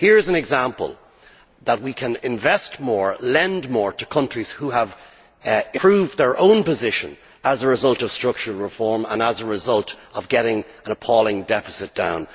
Here is an example showing that we can invest more and lend more to countries who have improved their own position as a result of structural reform and as a result of getting an appalling deficit down.